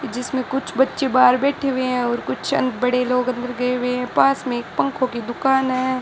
जिसमें कुछ बच्चे बाहर बैठे हुए हैं और कुछ अं बड़े लोग अंदर गए हुए हैं पास में एक पंखों की दुकान है।